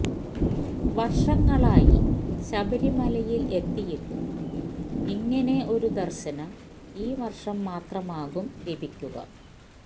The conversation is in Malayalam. വര്ഷങ്ങളായി ശബരിമലയില് എത്തിയിട്ടും ഇങ്ങനെ ഒരു ദര്ശനം ഈവര്ഷം മാത്രമാകും ലഭിക്കുക